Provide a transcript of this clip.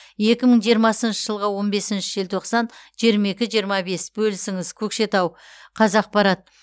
екі мың жиырмасыншы жылғы он бесінші желтоқсан жиырма екі жиырма бес бөлісіңіз көкшетау қазақпарат